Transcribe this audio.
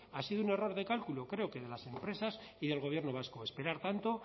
ha sido un error de cálculo creo de las empresas y del gobierno vasco esperar tanto